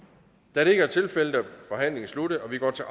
da det ikke er tilfældet er forhandlingen sluttet og vi går til